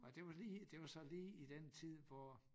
Nej det var lige det var så lige i den tid hvor